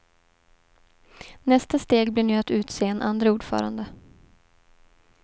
Nästa steg blir nu att utse en andre ordförande.